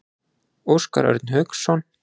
Óskar Örn Hauksson.